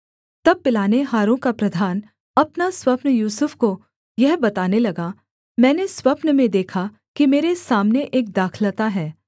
तब पिलानेहारों का प्रधान अपना स्वप्न यूसुफ को यह बताने लगा मैंने स्वप्न में देखा कि मेरे सामने एक दाखलता है